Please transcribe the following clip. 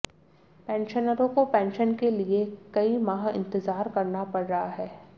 पेंशनरों को पेंशन के लिए कई माह इंतजार करना पड़ रहा है